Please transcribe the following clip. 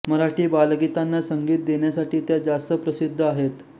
मराठी बालगीतांना संगीत देण्यासाठी त्या जास्त प्रसिद्ध आहेत